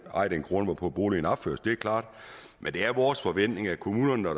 eje den grund hvorpå boligen opføres det er klart men det er vores forventning at kommunerne når